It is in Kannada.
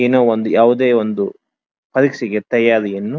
ಏನೋ ಒಂದು ಯಾವುದೇ ಒಂದು ಹಲಸಿಗೆ ತಯ್ಯಾರಿಯನ್ನು --